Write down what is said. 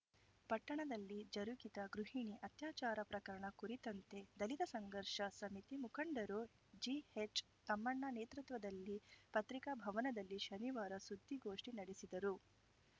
ಪಟ್ಟಣದಲ್ಲಿ ಜರುಗಿದ ಗೃಹಿಣಿ ಅತ್ಯಾಚಾರ ಪ್ರಕರಣ ಕುರಿತಂತೆ ದಲಿತ ಸಂಘರ್ಷ ಸಮಿತಿ ಮುಖಂಡರು ಜಿಎಚ್‌ ತಮ್ಮಣ್ಣ ನೇತೃತ್ವದಲ್ಲಿ ಪತ್ರಿಕಾ ಭವನದಲ್ಲಿ ಶನಿವಾರ ಸುದ್ದಿಗೋಷ್ಠಿ ನಡೆಸಿದರು